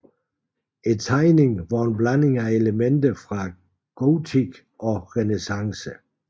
Tegningen var en blanding af elementer fra gotik og renæssance